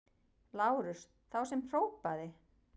LÁRUS: Þá sem hrópaði!